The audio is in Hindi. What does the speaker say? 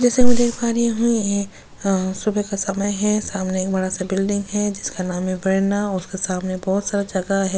जैसा कि मैं देख पा रही हूं यह सुबह का समय है सामने एक बड़ा सा बिल्डिंग है जिसका नाम है प्रेरणा उसके सामने बहुत सारा जगह है।